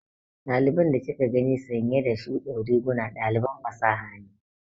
Ɗaliban da kika gani sanye da shuɗin riguna ɗaliban fasaha ne.